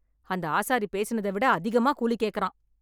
அந்த ஆசாரி பேசினதை விட அதிகமா கூலி கேக்கறான்.